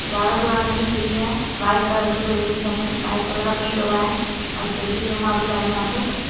ज्यादा पुराने नहीं है ठीक है। वाइट कलर की बिल्डिगस हैं ये वाइट कलर का पेंट हो रहा है और खिड़की भी है काफी सारी यहां पर।